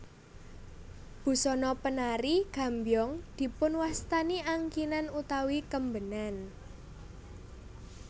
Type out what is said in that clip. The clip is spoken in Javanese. Busana penari gambyong dipunwastani angkinan utawi kembenan